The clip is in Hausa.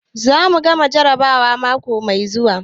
Za mu gama jarrabawa mako mai zuwa.